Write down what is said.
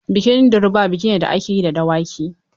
Bikin durbar biki ne da ake yi da Dawaki.